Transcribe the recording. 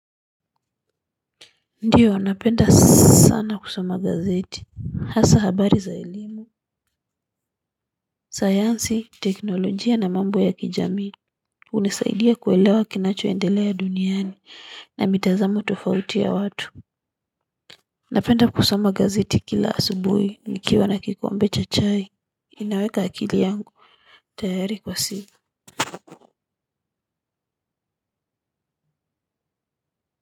Ndio napenda sana kusoma gazeti hasa habari za elimu sayansi teknolojia na mambo ya kijamii hunisaidia kuelewa kinacho endelea duniani na mitazamo tofauti ya watu napenda kusoma gazeti kila asubuhi nikiwa na kikombe cha chai ninaweka akili yangu tayari kwa siku.